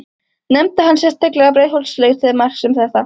Nefndi hann sérstaklega Breiðholtslaugar til marks um þetta.